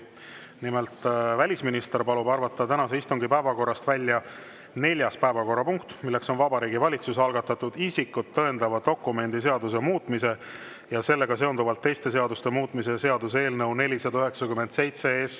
Nimelt, välisminister palub arvata tänase istungi päevakorrast välja neljanda punkti, milleks on Vabariigi Valitsuse algatatud isikut tõendavate dokumentide seaduse muutmise ja sellega seonduvalt teiste seaduste muutmise seaduse eelnõu 497.